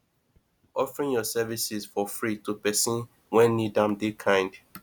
offering yur services for free to pesin wey nid am dey kind